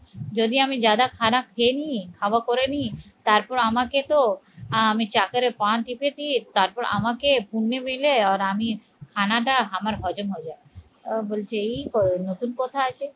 যদি আমি জাদা খারাপ খেলেনি, হাওয়া করে নি তারপর আমাকে তো আমি চা করে পা টিপেছি তারপর আমাকে মিলে আর আমি খানাটা, আমার হজম হবেনা তারপর বলছে এই তো নতুন কথা আছে